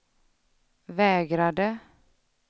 vägrade